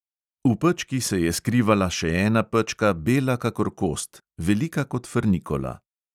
V pečki se je skrivala še ena pečka, bela kakor kost, velika kot frnikola.